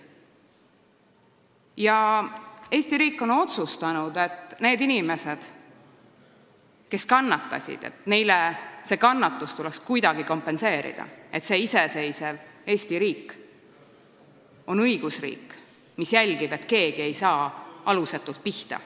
Ja Eesti riik on otsustanud, et nendele inimestele, kes kannatasid, tuleks see kannatus kuidagi kompenseerida, et iseseisev Eesti riik on õigusriik, mis jälgib, et keegi ei saa alusetult pihta.